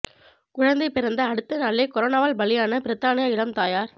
குழந்தை பிறந்த அடுத்த நாளே கொரோனாவால் பலியான பிரித்தானிய இளம் தாயார்